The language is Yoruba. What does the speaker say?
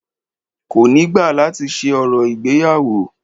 Kò ni gba láti ṣe orò ìgbéyàwó